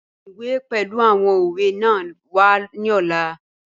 Mu iwe pẹlu awọn owe naa wa ni ọla.